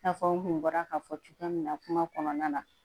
I n'a fɔ n kun bɔra k'a fɔ cogoya min na kuma kɔnɔna na